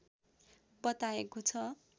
बताएको छ